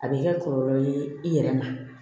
A bɛ kɛ kɔlɔlɔ ye i yɛrɛ ma